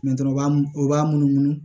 u b'a u b'a munumunu